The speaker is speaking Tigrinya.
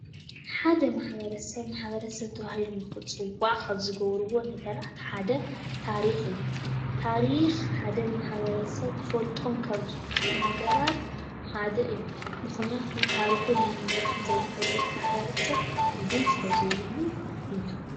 ሓደ ማሕበረሰብ ማሕበረሰብ ተባሂሉ ንክፅዋዕ ካብ ዝገብሩዎ ነገራት ሓደ ታሪኽ እዩ:: ታሪኽ ሓደ ማሕበረሰብ ክፈልጦ ካብ ዝግብኡ ነገራት ሓደ እዩ:: ምኽንያቱ ታሪኹን መንነቱን ዘይፈልጥ ማሕበረሰብ ትርጉም ስለ ዘይብሉ እዩ።